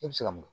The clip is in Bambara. E bɛ se ka mun